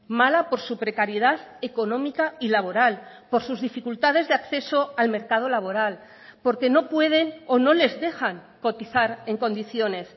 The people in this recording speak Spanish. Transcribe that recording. mala por su precariedad económica y laboral por sus dificultades de acceso al mercado laboral porque no pueden o no les dejan cotizar en condiciones